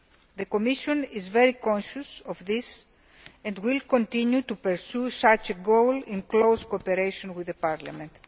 The Commission is very conscious of this and will continue to pursue that goal in close cooperation with Parliament.